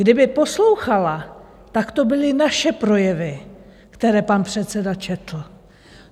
Kdyby poslouchala, tak to byly naše projevy, které pan předseda četl.